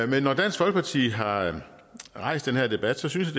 når dansk folkeparti har rejst den her debat synes